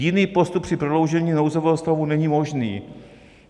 Jiný postup při prodloužení nouzového stavu není možný.